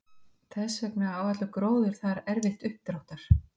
Þess vegna á allur gróður þar erfitt uppdráttar.